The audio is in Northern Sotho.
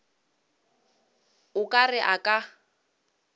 o ka re a ka